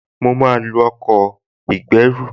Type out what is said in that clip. Mo máa lo ọkọ̀ ìgbẹ́rù